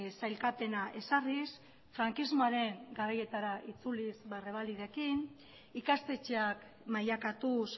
sailkapena ezarriz frankismoaren garaietara itzuliz rebalidekin ikastetxeak mailakatuz